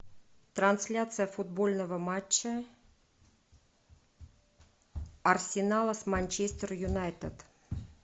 трансляция футбольного матча арсенала с манчестер юнайтед